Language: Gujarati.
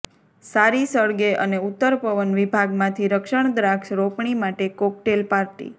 સારી સળગે અને ઉત્તર પવન વિભાગમાંથી રક્ષણ દ્રાક્ષ રોપણી માટે કોકટેલ પાર્ટી